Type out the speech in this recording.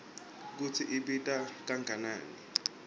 kutsi ibita kangakanani